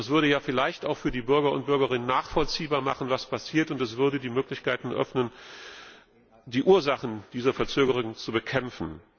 Das würde vielleicht auch für die Bürgerinnen und Bürger nachvollziehbar machen, was passiert, und es würde die Möglichkeit eröffnen, die Ursachen dieser Verzögerung zu bekämpfen.